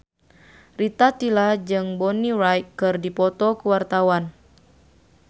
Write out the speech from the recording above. Rita Tila jeung Bonnie Wright keur dipoto ku wartawan